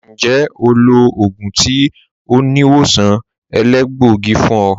Ǹjẹ́ ó lọ̀ ogun tì oníwọ̀sàn èlẹgbọ̀gí fún ọ?